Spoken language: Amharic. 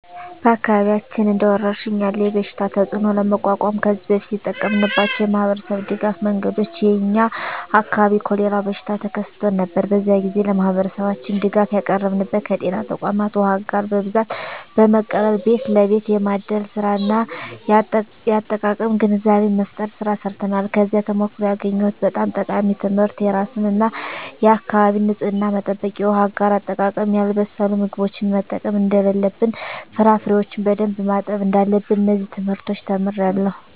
በአካባቢያችን እንደ ወረርሽኝ ያለ የበሽታ ተፅእኖ ለመቋቋም ከዚህ በፊት የተጠቀምንባቸው የማኅበረሰብ ድጋፍ መንገዶች የ የኛ አካባቢ የኮሬላ በሽታ ተከስቶ ነበር። በዚያ ግዜ ለማህበረሠባችን ድጋፍ ያቀረብንበት ከጤና ተቋማት ዉሃ አጋር በብዛት በመቀበል ቤት ለቤት የማደል ስራ እና የአጠቃቀም ግንዛቤ መፍጠር ስራ ሰርተናል። ከዚያ ተሞክሮ ያገኘሁት በጣም ጠቃሚ ትምህርት የራስን እና የአካቢን ንፅህና መጠበቅ፣ የውሃ አጋር አጠቃቀም፣ ያልበሰሉ ምግቦችን መጠቀም እደለለብን፣ ፍራፍሬዎችን በደንብ ማጠብ እዳለብን። እነዚን ትምህርቶች ተምሬአለሁ።